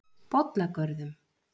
Bollagörðum